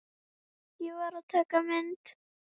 Ég varð að taka mynd.